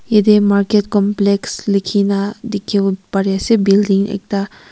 yatey market complex likhina dikhiwo pari ase building ekta.